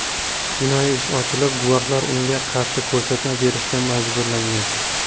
Jinoiy ish ochilib, guvohlar unga qarshi ko‘rsatma berishga majburlangan.